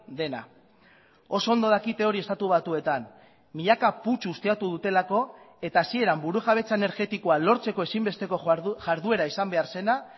dena oso ondo dakite hori estatu batuetan milaka putzu ustiatu dutelako eta hasieran burujabetza energetikoa lortzeko ezinbesteko jarduera izan behar zena